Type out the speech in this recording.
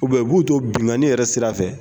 U b'u to bingani yɛrɛ sira fɛ.